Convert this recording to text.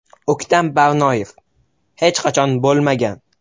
O‘ktam Barnoyev: Hech qachon bo‘lmagan.